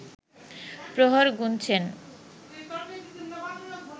প্রহর গুনছেন